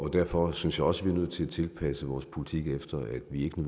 derfor synes jeg også vi nødt til at tilpasse vores politik efter at vi ikke